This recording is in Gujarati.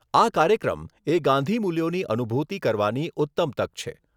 આ કાર્યક્રમ એ ગાંધીમૂલ્યોની અનુભૂતિ કરવાની ઉત્તમ તક છે.